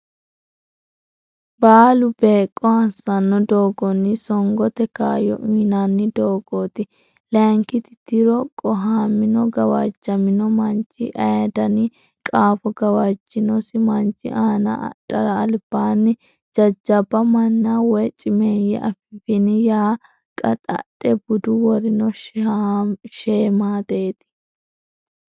baalu beeqqo assanno doogonni songote kaayyo uynanni doogooti Layinki tiro qohamino gawajjamino manchi aye dani qaafo gawajjinosi manchi aana adhara albaanni jajjabba manna woy cimeeyye Affini yaa qaxxadha budu worino sheemaateeti.